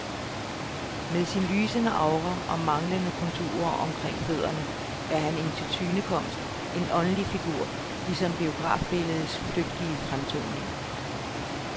Med sin lysende aura og manglende konturer omkring fødderne er han en tilsynekomst, en åndelig figur, ligesom biografbilledets flygtige fremtoninger.